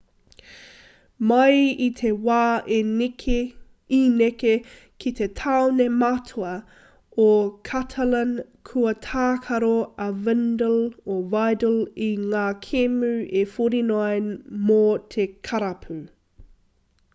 mai i te wā i neke ki te tāone matua o catalan kua tākaro a vidal i ngā kēmu e 49 mō te karapu